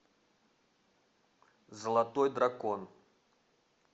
золотой дракон